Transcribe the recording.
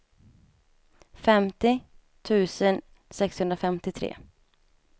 femtio tusen sexhundrafemtiotre